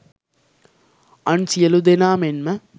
අන් සියලූ දෙනා මෙන්ම